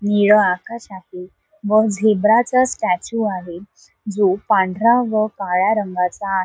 नीळ आकाश आहे व झेब्राचा स्टॅचू आहे जो पांढऱ्या व काळ्या रंगाचा आहे.